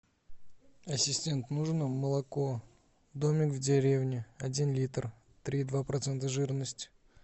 ассистент нужно молоко домик в деревне один литр три и два процента жирности